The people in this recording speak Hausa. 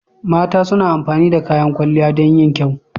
Mata suna amfani da kayan kwalliya dan yin kyau.